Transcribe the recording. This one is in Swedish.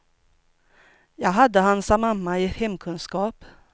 Jag hade hans mamma i hemkunskap.